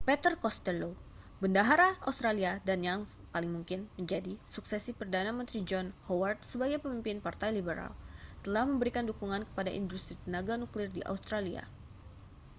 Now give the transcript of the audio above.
peter costello bendahara australia dan seorang yang paling mungkin menjadi suksesi perdana menteri john howard sebagai pemimpin partai liberal telah memberikan dukungan kepada industri tenaga nuklir di australia